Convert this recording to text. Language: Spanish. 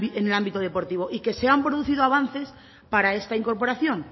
en el ámbito deportivo y que se han producido avances para esta incorporación